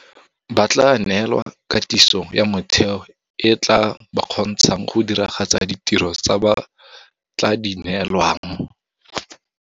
Ba tla neelwa katiso ya motheo e e tla ba kgontshang go diragatsa ditiro tse ba tla di neelwang.